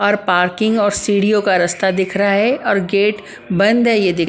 और पार्किंग और सीढ़ियों का रास्ता दिख रहा है और गेट बंद है ये देखिए ।